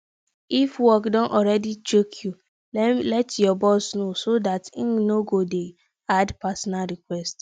if work don already choke you let your boss know so dat im no go dey add personal requests